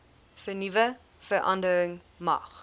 vernuwe verandering mag